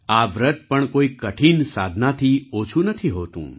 આ વ્રત પણ કોઈ કઠિન સાધનાથી ઓછું નથી હોતું